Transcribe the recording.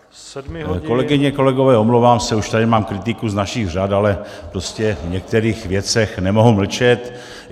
Kolegyně, kolegové, omlouvám se, už tady mám kritiku z našich řad, ale prostě v některých věcech nemohu mlčet.